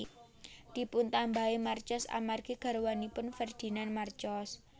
Dipuntambahi Marcos amargi garwanipun Ferdinand Marcos